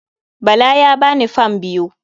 Bala ya ba ni fam biyu.